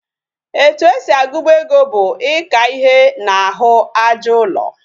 Etu esi agubu ego bu Ika ihe na ahu aja ulo